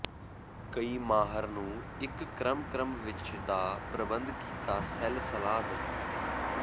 ਕਈ ਮਾਹਰ ਨੂੰ ਇੱਕ ਕ੍ਰਮ ਕ੍ਰਮ ਵਿੱਚ ਦਾ ਪ੍ਰਬੰਧ ਕੀਤਾ ਸੈੱਲ ਸਲਾਹ ਦੇ